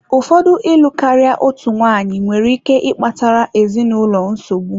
Ụfọdụ ịlụ karịa otu nwanyị nwere ike ịkpatara ezinụlọ nsogbu.